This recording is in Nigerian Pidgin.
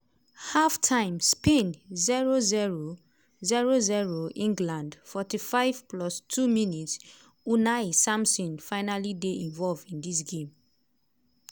half time: spain 0-0 0-0 england 45+2 mins - unai simon finally dey involved in dis game.